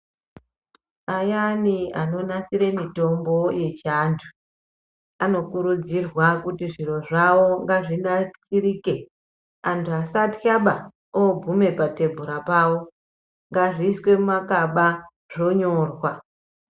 Ayani anonasire mitombo yechiandu anokurudzirwa kuti zviro zvavo ngazvinatsirike andu asatiya ba, ogume patebhura pawo ngazviswe mumakaba zvonyorwa.